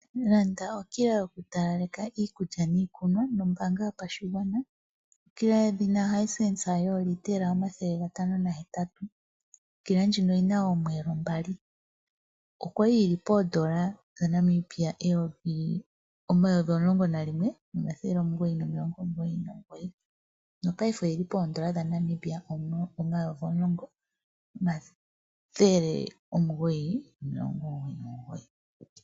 Landa okila yokutalaleka iikulya niiikunwa nombaanga yopashigwana. Okila yedhina Hisense yoolitra 508. Okila ndjino oyina oomwelo mbali. Okwali yina oondola dhaNamibia omayovi omulonngo nalimwe omathele omugoyi nomilongo omugoyi nomugoyi paife oyili poondola dhaNamibia omayovi omulongo omathele omugoyi nomilongo omugoyi nomugoyi.